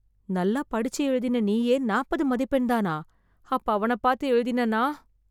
நல்லா படிச்சு எழுதின நீயே நாப்பது மதிப்பெண் தானா, அப்ப அவன பாத்து எழுதின நான் ?!